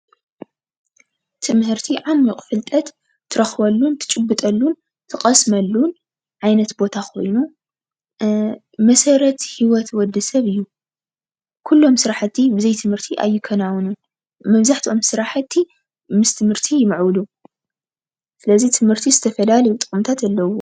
ትምህርቲ ዓሚቕ ፍልጠት ትረኽበሉን ትጭብጠሉን ትቐስመሉን ዓይነት ቦታ ኮይኑ መሠረት ሂወት ወዲ ሰብ እዩ፡፡ ኩሎም ስራሕቲ ብዘይ ትምህርቲ ኣይከናወኑን ኩሎም ስራሕቲ ምስ ትምህርቲ ይምዕብሉ፡፡ ስለዚ ትምህርቲ ዝተፈላለዩ ጥቕምታት ኣለውዎ፡፡